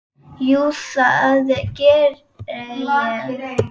Jú, það gerði ég.